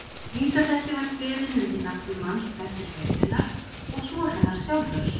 Vísa þessi var kveðin undir nafni manns þess er fékk hennar, og svo hennar sjálfrar